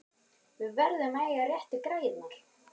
Við verðum að eiga réttu græjurnar!